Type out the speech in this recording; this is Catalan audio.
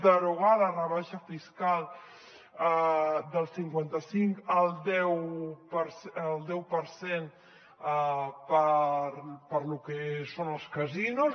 derogar la rebaixa fiscal del cinquanta cinc al deu per cent per a lo que són els casinos